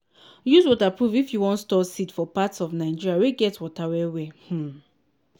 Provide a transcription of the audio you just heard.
use waterproof if you wan store seed for part of nigeria wey get water well well. um